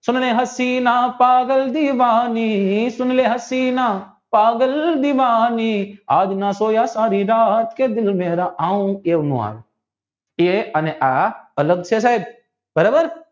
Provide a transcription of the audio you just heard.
સુન હસીના પાગલ દીવાની સુન હસીના પાગલ દીવાની આજના સોયા સારી રાત કે દિલ મેરા આવ એવું નો આવે તે અને આ અલગ છે સાહેબ બરાબર